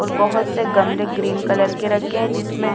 और बहुत से गमले ग्रीन कलर के रखे हैं जिसमें--